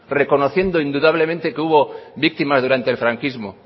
reconociendo indudablemente que hubo víctimas durante el franquismo